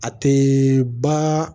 A tɛ ba